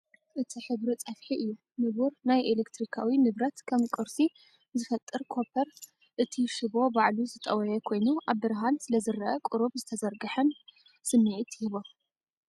እቲ ሕብሪ ጸፍሒ እዩ፣ ንቡር ናይ ኤሌክትሪካዊ ንብረት፣ ከም ቁርሲ ዝፈጥር ኮፐር። እቲ ሽቦ ባዕሉ ዝጠወየ ኮይኑ ኣብ ብርሃን ስለዝረአ ቁሩብ ዝተዘርግሐን ዝተዘርግሐን ስምዒት ይህቦ።